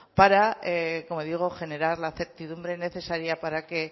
para como digo generar la certidumbre necesaria para que